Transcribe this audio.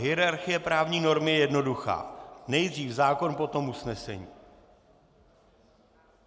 Hierarchie právní normy je jednoduchá - nejdřív zákon, potom usnesení.